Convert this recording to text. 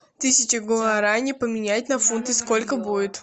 тысяча гуарани поменять на фунты сколько будет